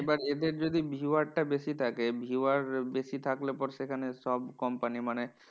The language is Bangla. এবার এদের যদি viewer টা বেশি থাকে, viewer বেশি থাকলে পর সেখানে সব কোম্পানি মানে